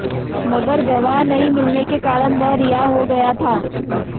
मगर गवाह नहीं मिलने के कारण वह रिहा हो गया था